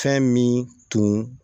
Fɛn min tun